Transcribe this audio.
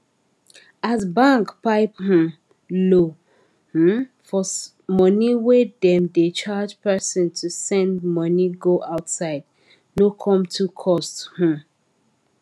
as bank pipe um low um for money wey dem da charge person to send money go outside no com too cost um